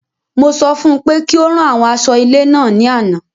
Mo sọ fún pé kí ó rán àwọn aṣọ ilé náà ní àna